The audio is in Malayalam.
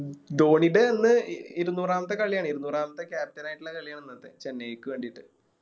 ധോണിടെ ഇന്ന് ഇ ഇരുനൂറാമത്തെ കളിയാണ് ഇരുനൂറാമത്തെ Captain ആയിട്ടുള്ള കളിയാണ് ഇന്നത്തെ ചെന്നൈക്ക് വേണ്ടീട്ട്